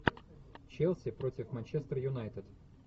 челси против манчестер юнайтед